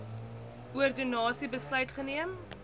ordonnansie besluit geneem